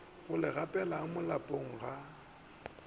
go le gapela polaong ya